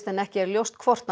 en ekki ljóst hvort